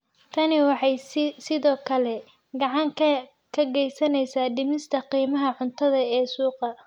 Tani waxay sidoo kale gacan ka geysaneysaa dhimista qiimaha cuntada ee suuqa.